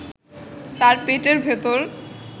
তার পেটের ভেতর